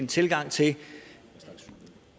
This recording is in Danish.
tilgang til det